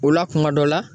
O la kuma dɔ la